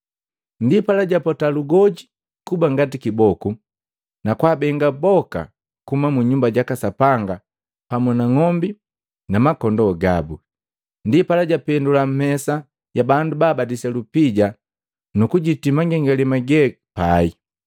Ndipala japota lugoji kuba ngati kiboku na kwaabenga boka kuhuma mu Nyumba jaka Sapanga pamu na ng'ombi na makondoo gabu. Ndipala japendua mesa ya bandu babadilisa lupija nukujiti mangengalema ge pai,